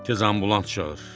Tez ambulans çağır.